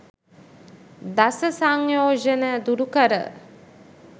දස සංයෝජන දුරු කර